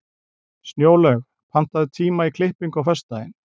Snjólaug, pantaðu tíma í klippingu á föstudaginn.